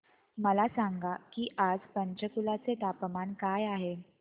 मला सांगा की आज पंचकुला चे तापमान काय आहे